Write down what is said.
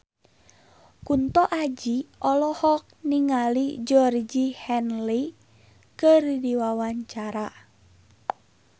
Kunto Aji olohok ningali Georgie Henley keur diwawancara